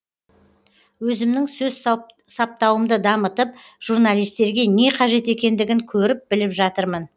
өзімнің сөз саптауымды дамытып журналистерге не қажет екендігін көріп біліп жатырмын